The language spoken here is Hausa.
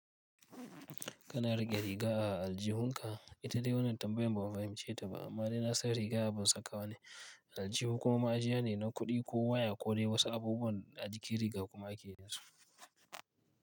Kana raƙe riga a aljihunka. Ita dai wannan tambaya ban fahimce ta ba amma dai nasan riga aban saka wa ne. Aljihu kuma ajiya ne na kuɗi ko waya ko dai wasu abubuwan a jikin riga kuma ake yin su.